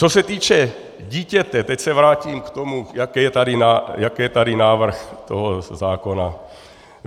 Co se týče dítěte, teď se vrátím k tomu, jaký je tady návrh toho zákona.